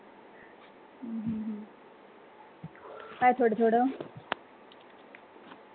काय थोडं थोडं